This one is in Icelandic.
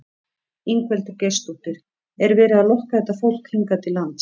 Ingveldur Geirsdóttir: Er verið að lokka þetta fólk hingað til lands?